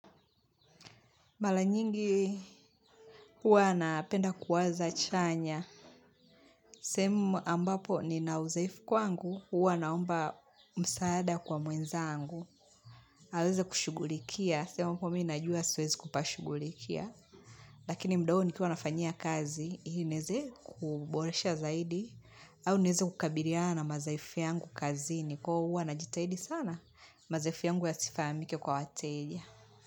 Mara nyingi huwa ninapenda kuwaza chanya. Sehemu ambapo nina uzoefu kwangu huwa naomba msaada kwa mwenzangu. Aweze kushugulikia. Sehemu ambapo mimi najua siwezi kupashughulikia. Lakini muda huo nikiwa nafanyia kazi, ili niweze kuboresha zaidi. Au niweze kukabiliana madhaifu yangu kazi. Kwa hivo huwa najitahidi sana. Madhaifu yangu yasifahamike kwa wateja.